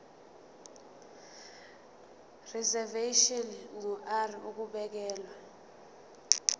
reservation ngur ukubekelwa